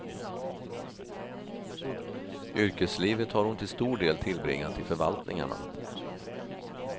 Yrkeslivet har hon till stor del tillbringat i förvaltningarna.